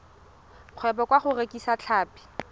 kgwebo ka go rekisa tlhapi